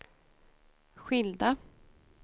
skilda